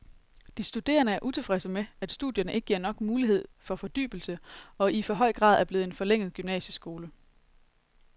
De studerende er utilfredse med, at studierne ikke giver nok mulighed for fordybelse og i for høj grad er blevet en forlænget gymnasieskole.